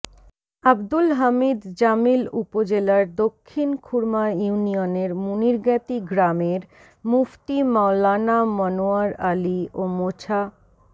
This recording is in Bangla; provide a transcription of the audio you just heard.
আবদুল হামিদ জামিল উপজেলার দক্ষিণ খুরমা ইউনিয়নের মুনিরজ্ঞাতি গ্রামের মুফতি মাওলানা মনোয়ার আলী ও মোছা